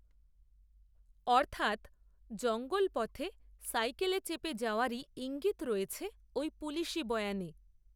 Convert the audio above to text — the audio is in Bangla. অর্থাত্ জঙ্গলপথে সাইকেলে চেপে যাওয়ারই, ঈঙ্গিত রয়েছে, ওই পুলিশি বয়ানে